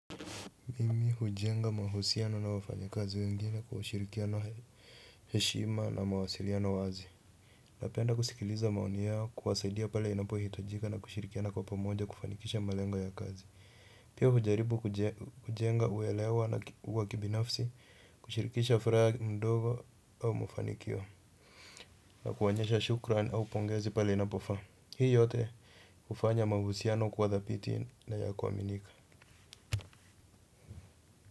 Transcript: Mimi hujenga mahusiano na wafanya kazi wengine kwa ushirikiano heshima na mawasiliano wazi. Napenda kusikiliza maoni yao kuwasaidia pale inapo hitajika na kushirikiana kwa pomoja kufanikisha malengo ya kazi. Pia hujaribu kujenga uelewa na wa kibinafsi kushirikisha furaha ndogo au mafanikio. Na kuonyesha shukran au pongezi pale inapofa. Hii yote hufanya mahusiano kwa dhabiti na ya kuaminika.